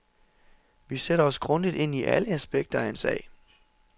Vi sætter os grundigt ind i alle aspekter af en sag.